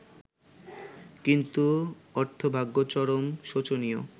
কিন্তু অর্থভাগ্য চরম শোচনীয়।